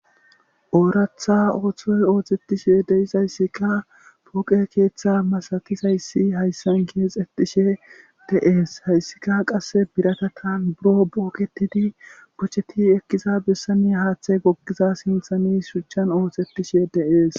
ooratha ooththoy oothetishe deizayssikka pooqe keeththe masatisayssi hayssan keexetishe de7ees hayssika qass biratataan buro booketidi kocheti ekkiza bessane haaththe gokgiza sinthani shuchchan oohxetishe deees